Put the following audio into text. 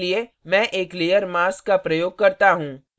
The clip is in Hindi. यह करने के लिए मैं एक layer mask का प्रयोग करता हूँ